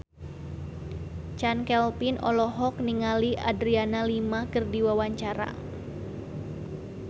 Chand Kelvin olohok ningali Adriana Lima keur diwawancara